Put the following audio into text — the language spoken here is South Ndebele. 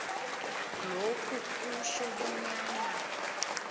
lokhu kutjho bonyana